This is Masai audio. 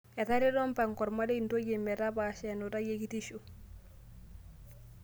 Etareto mpango ormarei ntoyie metapaasha enutai ekitisho